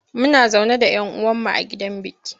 Muna zaune da yan uwan mu a gidan biki.